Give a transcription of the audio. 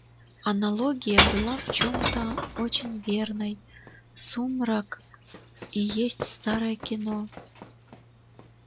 аналогия в чем-то была очень верной сумрак и есть старое кино